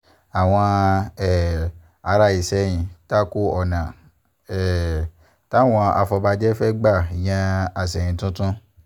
àwọn um ará ìsẹ̀yìn ta ko ọ̀nà um táwọn afọbàjẹ́ fẹ́ẹ́ gbà yan àsẹ̀yìn tuntun